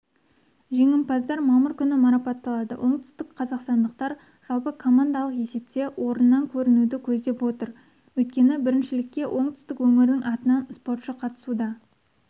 жеңімпаздар мамыр күні марапатталады оңтүстік қазақстандықтар жалпы командалық есепте орыннан көрінуді көздеп отыр өйткені біріншілікке оңтүстік өңірдің атынан спортшы қатысуда